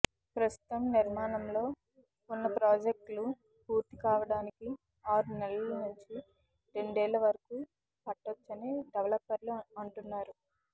ప్రస్తుతం నిర్మాణంలో ఉన్న ప్రాజెక్టులు పూర్తి కావడానికి ఆరు నెలల నుంచి రెండేళ్ల వరకు పట్టొచ్చని డెవలపర్లు అంటున్నారు